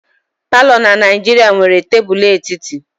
palọ na Naijiria nwere tebụl etiti.